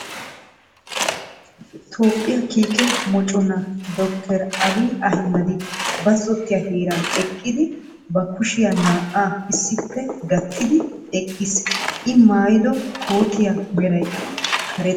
Toophphiya kiikke mocconaa dr. Abii Ahamedi bazotiya heeran eqqidi ba kushiya naa"aa issippe gattidi eqiis, I maayiddo kootiya meraykka karettta.